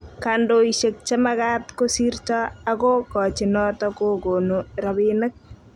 kandoishek chemagaat kosirto ago kochi noto kogoni robinik